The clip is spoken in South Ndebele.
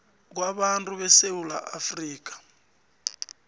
kwabantu besewula afrika